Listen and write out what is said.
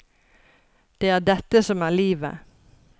Det er dette som er livet.